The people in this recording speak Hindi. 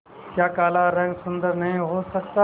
क्या काला रंग सुंदर नहीं हो सकता